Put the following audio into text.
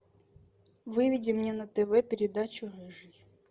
выведи мне на тв передачу рыжий